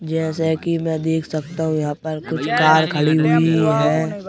जैसे कि मैं देख सकता हूं यहाँ पर कुछ कार खड़ी हुई हैं।